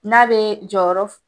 N'a be jɔyɔrɔ